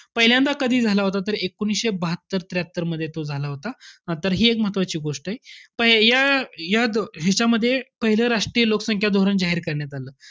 पहिल्यांदा कधी झाला होता तर एकोणीसशे बहात्तर त्र्याहत्तरमध्ये तो झाला होता. तर हि एक महत्वाची गोष्टय. प~ ह्या ह्या~ ह्याच्यामध्ये, पहिल्यांदा राष्ट्रीय लोकसंख्या धोरण जाहीर करण्यात आलं.